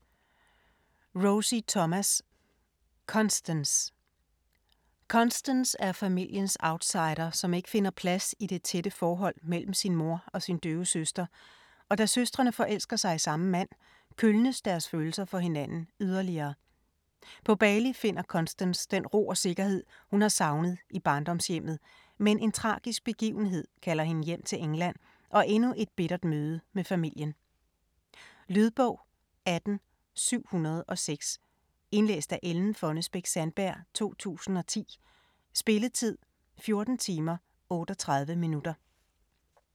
Thomas, Rosie: Constance Constance er familiens outsider, som ikke finder plads i det tætte forhold mellem sin mor og sin døve søster, og da søstrene forelsker sig i samme mand, kølnes deres følelser for hinanden yderligere. På Bali finder Constance den ro og sikkerhed, hun har savnet i barndomshjemmet, men en tragisk begivenhed kalder hende hjem til England og endnu et bittert møde med familien. Lydbog 18706 Indlæst af Ellen Fonnesbech-Sandberg, 2010. Spilletid: 14 timer, 38 minutter.